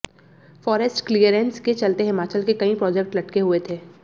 forest clearance के चलते हिमाचल के कई प्रोजेक्ट लटके हुए थे